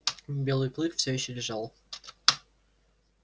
белый клык всё ещё лежал